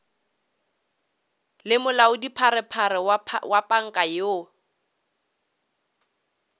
le molaodipharephare wa panka yoo